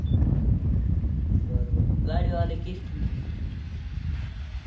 बरं बरं. गाडीवालं की एस टी नी